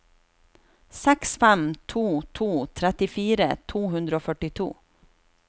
seks fem to to trettifire to hundre og førtito